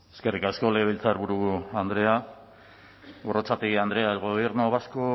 eskerrik asko legebiltzarburu andrea gorrotxategi andrea el gobierno vasco